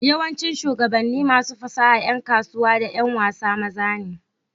yawancin shugabanni, masu fasaha, ’yan kasuwa, da ’yan wasa maza ne